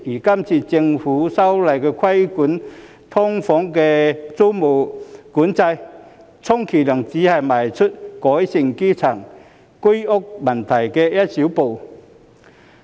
今次政府修例規管"劏房"租務管制，充其量只是邁出改善基層住屋問題的一小步。